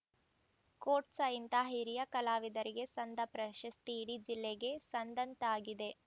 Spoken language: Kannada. ಕೋಟ್ಸ್‌ ಇಂತಹ ಹಿರಿಯ ಕಲಾವಿದರಿಗೆ ಸಂದ ಪ್ರಶಸ್ತಿ ಇಡೀ ಜಿಲ್ಲೆಗೆ ಸಂದಂತಾಗಿದೆ